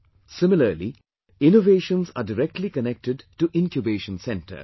Similarly, innovations are directly connected to Incubation Centres